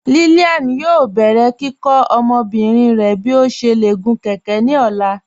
Lílíán yóò bẹ̀rẹ̀ kíkọ́ ọmọbìrín rẹ̀ bí ó ṣé lè gún kẹ̀kẹ̀ ní ọ̀la.